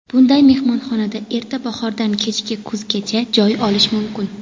Bunday mehmonxonada erta bahordan kechki kuzgacha joy olish mumkin.